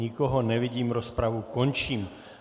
Nikoho nevidím, rozpravu končím.